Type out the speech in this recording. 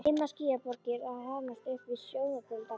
Dimmar skýjaborgir að hrannast upp við sjóndeildarhring.